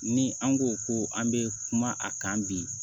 Ni an ko ko an bɛ kuma a kan bi